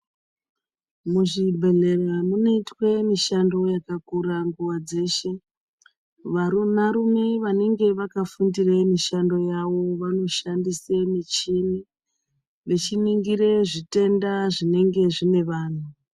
Muzvibhehlera munoitwa mushando yakakura nguwa dzeshe vanarume vanenge vakafundira mushando yavo vanoshandisa muchini vachiningira zvitenda zvinenge zvine vandu